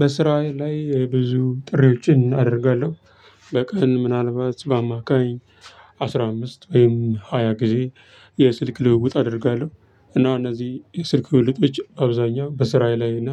በስራዬ ላይ ብዙ ጥሪዎችን አደርጋለሁ። በቀን ምናልባት በአማካኝ አስራ አምስት ወይም ሃያ ጊዜ። የስልክ ልውውጥ አደርጋለሁ። እና እነዚህ የስልክ ልውውጦች አብዛኛው በስራዬ ላይ እና